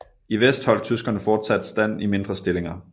I vest holdt tyskerne fortsat stand i mindre stillinger